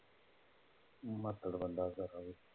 ਮਹਾਤੜ ਬੰਦਾ